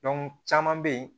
caman bɛ yen